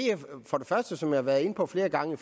for det første som jeg har været inde på flere gange